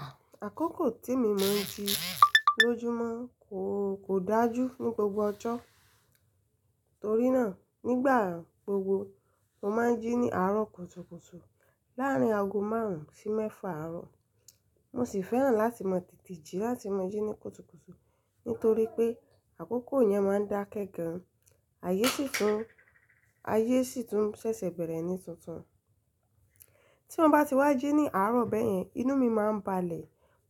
À, àkókò tí mi mo ń jí lójúmọ́ kò, kò dájú ní gbogbo ọjọ́. Torí náà, nígbà gbogbo mo máa ń jí ní àárọ̀ kùtùkùtù láàárín ago márùn-ún sí mẹ́fà àárọ̀. Mo sì fẹ́ràn láti máa tètè jí láti máa jí ní kùtùkùtù nítorí pé àkókò yẹn máa ń dá kẹ́ gan, ayé sì tún, ayé sì tún ṣẹ̀ṣẹ̀ bẹ̀rẹ̀ ní tuntun. Tí mo bá ti wá jí ní àárọ̀ bẹ́ẹ̀ yẹn, inú mi máa ń balẹ̀,